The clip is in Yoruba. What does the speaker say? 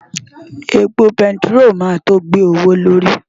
Epo bẹntiró máa tó gbé owó lórí.